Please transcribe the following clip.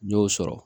N y'o sɔrɔ